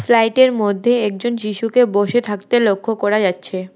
প্লাইট -এর মধ্যে একজন শিশুকে বসে থাকতে লক্ষ করা যাচ্ছে।